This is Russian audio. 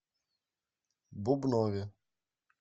бубнове